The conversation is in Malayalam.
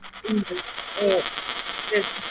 ഓ ശരി